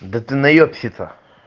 да ты наёбщиться